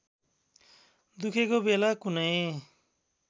दुखेको बेला कुनै